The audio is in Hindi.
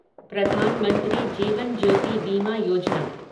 प्रधानमंत्री जीवन ज्योति बीमा योजना